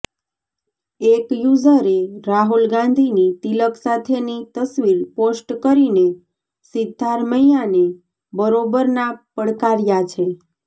એક યુઝરે રાહુલ ગાંધીની તિલક સાથેની તસ્વીર પોસ્ટ કરીને સિદ્ધારમૈયાને બરોબરનાં પડકાર્યા છે